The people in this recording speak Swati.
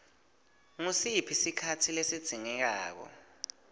ngusiphi sikhatsi lesidzingeka